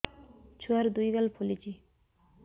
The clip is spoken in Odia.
ଛୁଆର୍ ଦୁଇ ଗାଲ ଫୁଲିଚି